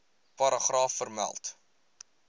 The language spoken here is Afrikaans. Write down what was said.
paragraaf vermeld